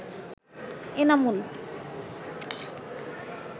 Enamul